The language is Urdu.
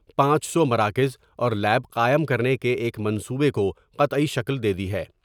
پانچ سو مراکز اور لیب قائم کرنے کے ایک منصوبے کو قطعی شکل دے دی ہے۔